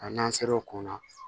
A n'an ser'o ko kun na